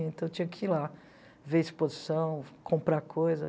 Então eu tinha que ir lá ver exposição, comprar coisa.